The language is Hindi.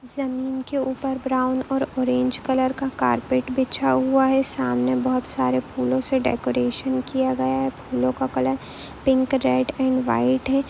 इस जमीन के ऊपर ब्रावुन और ऑरेंज कलर का कारपेट बिछा हुआ है सामने बहुत सारे फूलों से डेकोरेशन किया गया है फूलों का colour pink red and white है।